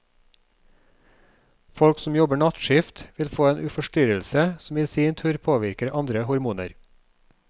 Folk som jobber nattskift vil få en forstyrrelse, som i sin tur påvirker andre hormoner.